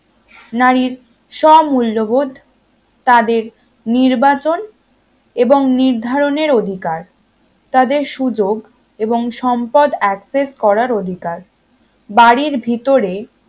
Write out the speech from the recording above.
নারীর সব মূল্যবোধ তাদের নির্বাচন এবং নির্ধারণের অধিকার তাদের সুযোগ এবং সম্পদ access করার অধিকার বাড়ির ভিতরে